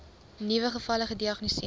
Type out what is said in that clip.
nuwe gevalle gediagnoseer